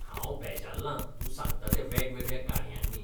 हांव बेजारलां तूं सांगता त्या वेगवेगळ्या काणयांनी.